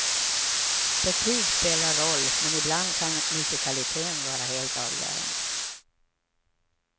Betyg spelar roll, men ibland kan musikaliteten vara helt avgörande.